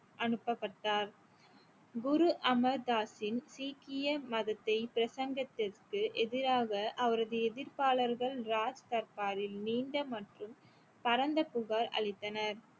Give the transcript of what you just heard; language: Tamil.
அனுப்பப்பட்டார் குரு அமிர்தாஸின் சீக்கிய மதத்தை பிரசங்கத்திற்கு எதிராக அவரது எதிர்ப்பாளர்கள் ராஜ்தர்பாரில் நீண்ட மற்றும் பரந்த புகார் அளித்தனர்